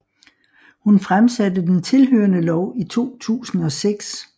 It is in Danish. Hun fremsatte den tilhørende lov i 2006